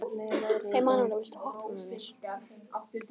Emanúela, viltu hoppa með mér?